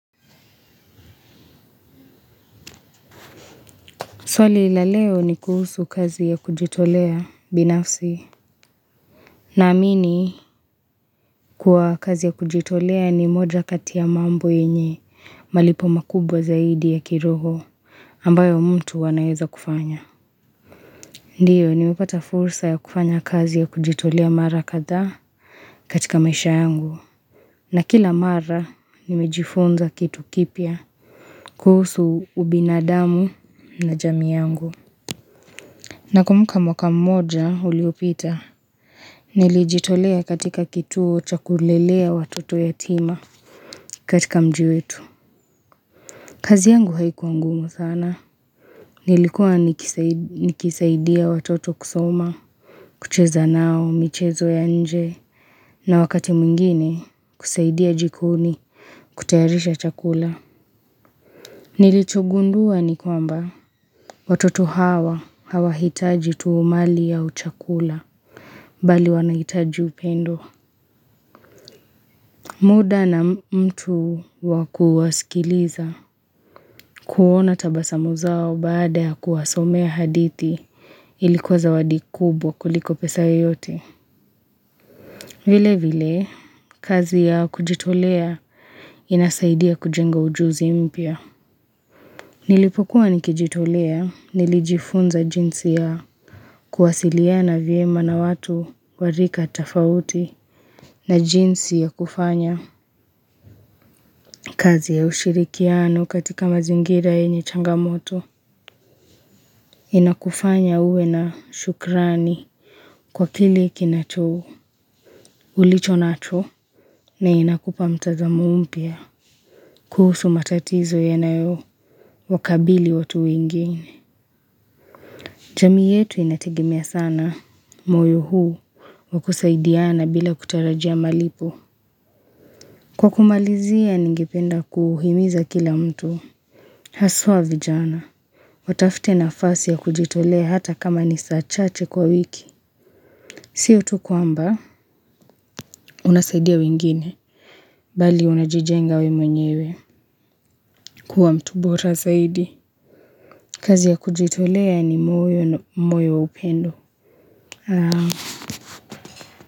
Swali la leo ni kuhusu kazi ya kujitolea binafsi na amini kwa kazi ya kujitolea ni moja kati ya mambo yenye malipo makubwa zaidi ya kiroho ambayo mtu anaweza kufanya. Ndiyo nimepata fursa ya kufanya kazi ya kujitolea mara kadhaa katika maisha yangu na kila mara nimejifunza kitu kipya kuhusu ubinadamu na jamii yangu. Nakumbuka mwaka mmoja uliopita Nilijitolea katika kituo cha kulelea watoto yatima katika mji wetu kazi yangu haikuwa ngumu sana Nilikuwa nikisaidia watoto kusoma kucheza nao michezo ya nje na wakati mwingine kusaidia jikoni kutayarisha chakula Nilichogundua nikwamba Watoto hawa hawahitaji tu mali au chakula Bali wanahitaji upendo muda na mtu wa kuwasikiliza kuona tabasamu zao baada ya kuwasomea hadithi ilikuwa zawadi kubwa kuliko pesa yoyote. Vile vile, kazi ya kujitolea inasaidia kujenga ujuzi mpya. Nilipokuwa nikijitolea nilijifunza jinsi ya kuwasiliana vyema na watu wa rika tofauti na jinsi ya kufanya. Kazi ya ushirikiano katika mazingira yenye changamoto inakufanya uwe na shukrani kwa kile kinacho ulicho nacho na inakupa mtazamo mpya kuhusu matatizo yanayo wakabili watu wengine. Jamii yetu inategemea sana moyo huu wa kusaidiana bila kutarajia malipo. Kwa kumalizia ningependa kuhimiza kila mtu Haswa vijana Watafte nafasi ya kujitolea hata kama ni saa chache kwa wiki Sio tu kwamba Unasaidia wengine Bali unajijenga wewe mwenyewe kuwa mtu bora zaidi kazi ya kujitolea ni moyo na upendo.